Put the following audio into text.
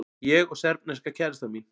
Ég og serbneska kærastan mín.